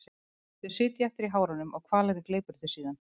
Þau sitja eftir í hárunum og hvalurinn gleypir þau síðan.